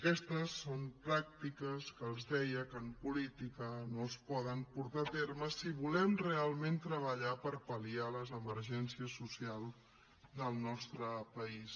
aquestes són pràctiques que els ho deia que en política no es poden portar a terme si volem realment treballar per pal·liar les emergències socials del nostre país